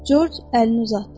Corc əlini uzatdı.